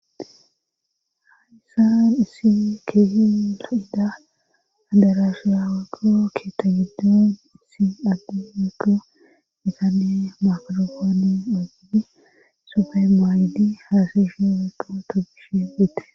Hadysan isi keeyia'ida adarasha maqo keeta giddon issi addi meqo mitane maforofoone dhogiddi sofey maayidi haasashe meqo togishe bette.